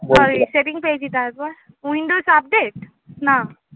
window না?